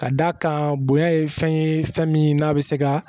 Ka d'a kan bonya ye fɛn ye fɛn min n'a bɛ se ka